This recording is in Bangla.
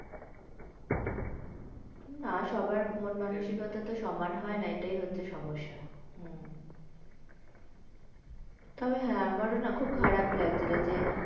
না সবার মন মানসিকতা তো সমান হয় না এইটাই হচ্ছে সমস্যা। হম তবে হ্যাঁ আমারও না খুব খারাপ লাগছিলো যে